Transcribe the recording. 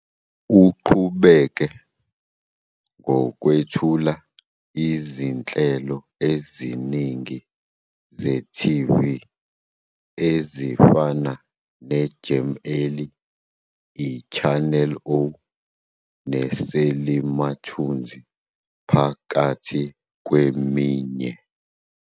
Uqhubeke ngokwethula izinhlelo eziningi ze-TV ezifana neJam Alley, iChannel O neSelimathunzi phakathi kweminye.